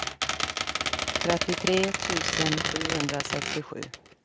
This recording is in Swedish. trettiotre tusen sjuhundrasextiosju